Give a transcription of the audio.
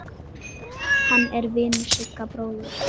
Hann er vinur Sigga bróður.